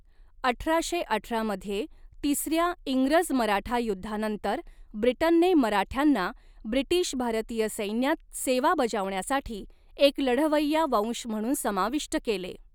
अठराशे अठरा मध्ये तिसऱ्या इंग्रज मराठा युद्धानंतर, ब्रिटनने मराठ्यांना ब्रिटीश भारतीय सैन्यात सेवा बजावण्यासाठी एक लढवय्या वंश म्हणून समाविष्ट केले.